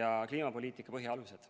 ja kliimapoliitika põhialused.